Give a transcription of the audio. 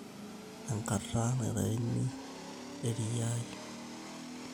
Enkata naitayuni err`iaa.